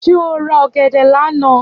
Ṣé ọ ra ọ̀gẹ̀dẹ̀ lánáà?